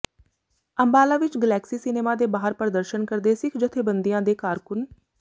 ਅੰਬਾਲਾ ਵਿੱਚ Galaxy cinema ਦੇ ਬਾਹਰ ਪ੍ਰਦਰਸ਼ਨ ਕਰਦੇ ਸਿੱਖ ਜਥੇਬੰਦੀਆਂ ਦੇ ਕਾਰਕੁਨ